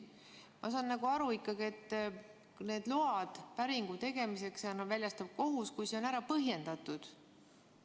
Ma saan aru, et need load päringu tegemiseks väljastab kohus, kui see on põhjendatud.